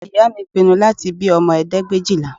Ìyá mi pinnu láti bí ọmọ ẹ̀ẹ́dẹ́gbẹ̀éjìlá